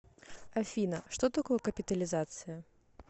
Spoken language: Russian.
афина что такое капитализация